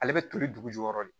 Ale bɛ toli dugu jukɔrɔ de